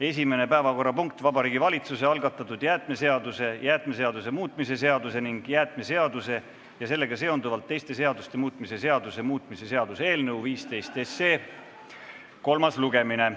Esimene päevakorrapunkt: Vabariigi Valitsuse algatatud jäätmeseaduse, jäätmeseaduse muutmise seaduse ning jäätmeseaduse ja sellega seonduvalt teiste seaduste muutmise seaduse muutmise seaduse eelnõu 15 kolmas lugemine.